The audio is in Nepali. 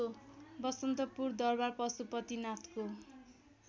बसन्तपुर दरबार पशुपतिनाथको